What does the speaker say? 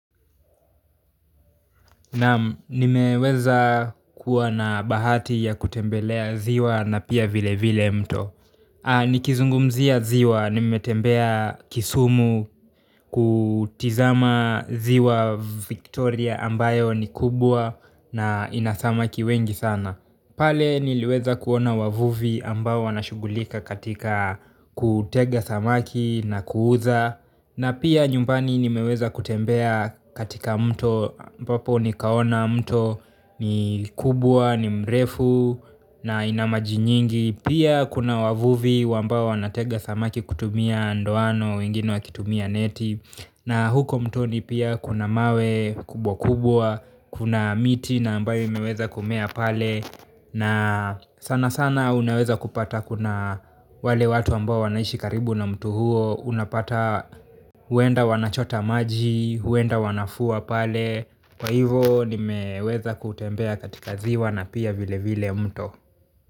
Naam nimeweza kuwa na bahati ya kutembelea ziwa na pia vile vile mto. Nikizungumzia ziwa nimetembea kisumu kutizama ziwa Victoria ambayo ni kubwa na ina samaki wengi sana pale niliweza kuona wavuvi ambao wanashughulika katika kutega samaki na kuuza na pia nyumbani nimeweza kutembea katika mto ambapo nikaona mto ni kubwa ni mrefu na ina maji nyingi pia kuna wavuvi ambao wanatega samaki kutumia ndoano wengine wakitumia neti na huko mtoni pia kuna mawe kubwa kubwa kuna miti na ambayo imeweza kumea pale na sana sana unaweza kupata kuna wale watu ambao wanaishi karibu na mto huo unapata huenda wanachota maji, huenda wanafua pale kwa hivo nimeweza kutembea katika ziwa na pia vile vile mto.